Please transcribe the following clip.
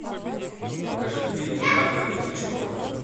покажи фильм альфреда хичкока